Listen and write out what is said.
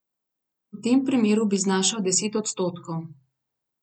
V tem primeru bi znašal deset odstotkov.